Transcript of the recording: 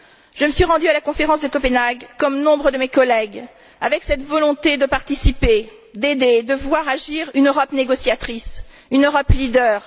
Je me suis rendue à la conférence de Copenhague comme nombre de mes collègues, avec cette volonté de participer, d'aider, de voir agir une Europe négociatrice, une Europe leader.